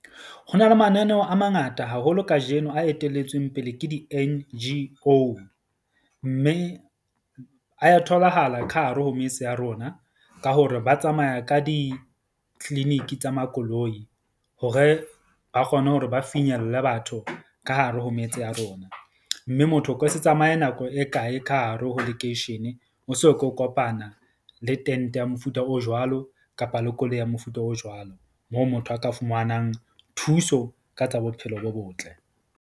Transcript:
Ho na le mananeo a mangata haholo kajeno a etelletsweng pele ke di-N_G_O mme a ya tholahala ka hare ho metse ya rona, ka hore ba tsamaya ka di-clinic tsa makoloi hore ba kgone hore ba finyelle batho ka hare ho metse ya rona. Mme motho o ka se tsamaye nako e kae ka hare ho lekeishene, o so ke o kopana le tente ya mofuta o jwalo kapa le koloi ya mofuta o jwalo. Moo motho a ka fumanang thuso ka tsa bophelo bo botle.